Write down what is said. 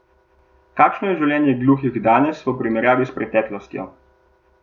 Kakšno je življenje gluhih danes v primerjavi s preteklostjo?